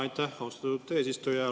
Aitäh, austatud eesistuja!